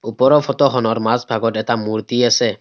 ওপৰৰ ফটো খনৰ মাজ ভাগত এটা মূৰ্ত্তি আছে।